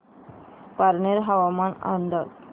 पारनेर हवामान अंदाज